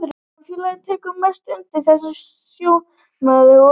Samfélagið tekur að mestu undir þessi sjónarmið og læknirinn gefur honum eitthvað róandi.